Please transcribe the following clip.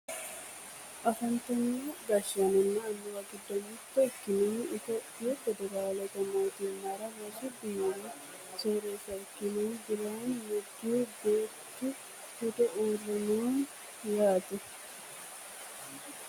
afantino gashshaanonna annuwu giddo mitto ikkinohu itiyophiyu federaalete mootimmara rosu biiro soreessa ikkinohu biraanu neggihu beettu ledo uurre no yaate